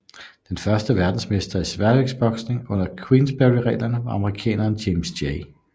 Den første verdensmester i sværvægtsboksning under Quensberryreglerne var amerikaneren James J